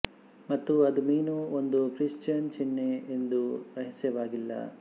ಮತ್ತು ಅದು ಮೀನು ಒಂದು ಕ್ರಿಶ್ಚಿಯನ್ ಚಿಹ್ನೆ ಎಂದು ರಹಸ್ಯವಾಗಿಲ್ಲ